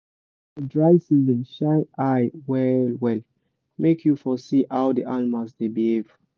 for dry season shine eye well well make you for see how the animals dey behave.